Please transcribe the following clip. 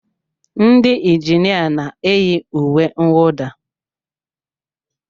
Ndị injinia na-eyi uwe mwụda.